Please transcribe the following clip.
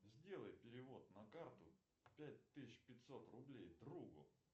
сделай перевод на карту пять тысяч пятьсот рублей другу